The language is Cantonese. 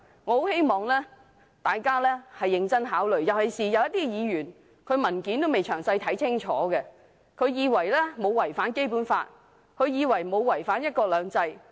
我希望大家認真考慮，尤其有些議員還未仔細看清楚文件，以為"一地兩檢"沒有違反《基本法》，沒有違反"一國兩制"。